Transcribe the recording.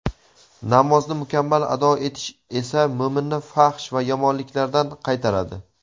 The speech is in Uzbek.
Namozni mukammal ado etish esa mo‘minni fahsh va yomonliklardan qaytaradi.